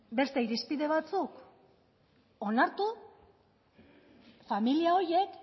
beste irizpide batzuk onartu familia horiek